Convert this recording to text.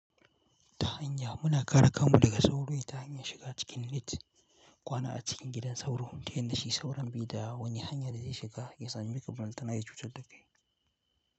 Ta hanya muna kare kanmu daga sauro ta hanyar shiga cikin net, kwana a cikin gidan sauro, tun tayan da shi sauran baida wani hanya da zai shiga ya sameka balantana ya cutar da kai.